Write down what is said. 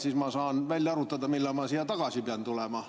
Siis ma saan välja arvutada, millal ma pean siia tagasi tulema.